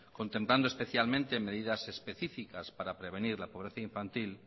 contemplando especialmente medidas específicas para prevenir la pobreza infantil